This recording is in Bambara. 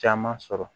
Caman sɔrɔ